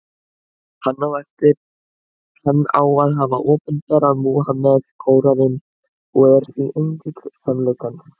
Hann á að hafa opinberað Múhameð Kóraninn, og er því engill sannleikans.